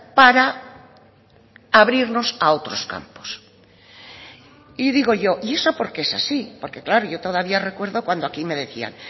para abrirnos a otros campos y digo yo y eso por qué es así porque claro yo todavía recuerdo cuando aquí me decían